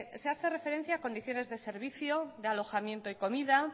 se hace referencia condiciones de servicio de alojamiento y comida